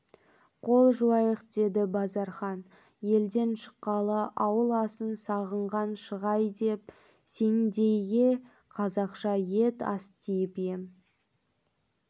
қол жуайық деді базархан елден шыққалы ауыл асын сағынған шығай деп сендейге қазақша ет астиып ем